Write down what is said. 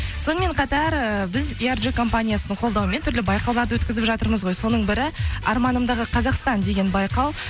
сонымен қатар ыыы біз компаниясының қолдауымен түрлі байқауларды өткізіп жатырмыз ғой соның бірі арманымдағы қазақстан деген байқау